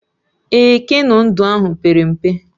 Ee, keno ndụ ahụ pere mpe